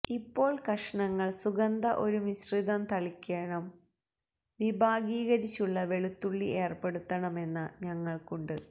ഇപ്പോൾ കഷണങ്ങൾ സുഗന്ധ ഒരു മിശ്രിതം തളിക്കേണം വിഭാഗീകരിച്ചിട്ടുള്ള വെളുത്തുള്ളി ഏർപ്പെടുത്തണമെന്ന ഞങ്ങൾക്കുണ്ട്